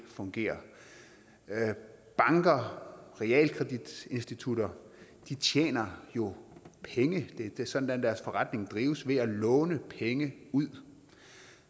fungerer banker og realkreditinstitutter tjener jo penge det er sådan deres forretning drives ved at låne penge ud